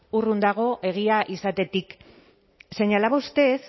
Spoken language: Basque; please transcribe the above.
urrun dago egia izatetik señalaba usted